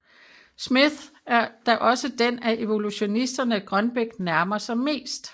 Smith er da også den af evolutionisterne Grønbech nærmer sig mest